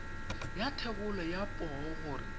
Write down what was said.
ya thebolo ya poo gore